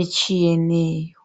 etshiyeneyo.